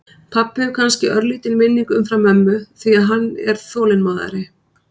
Pabbi hefur kannski örlítinn vinning umfram mömmu því að hann er þolinmóðari.